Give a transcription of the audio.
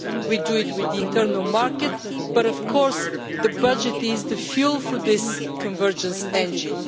We do that with the internal market, but of course the budget is the fuel for this convergence engine.